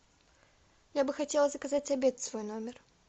я бы хотела заказать обед в свой номер